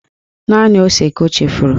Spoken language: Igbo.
Naanị ose ka o chefuru